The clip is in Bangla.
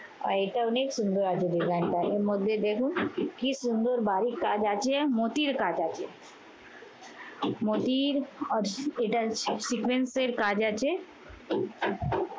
এটা অনেক সুন্দর আছে design টা। এর মধ্যে দেখুন কি সুন্দর ভারী কাজ আছে মতির কাজ আছে। মতির এটার sequence এর কাজ আছে